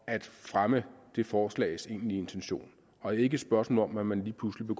at fremme det forslags egentlige intention og ikke et spørgsmål om at man lige pludselig